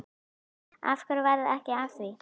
Af hverju varð ekki af því?